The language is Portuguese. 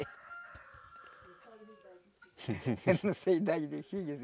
Eu não sei a idade dos filhos.